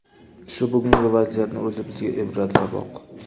Shu bugungi vaziyatning o‘zi bizga ibrat, saboq.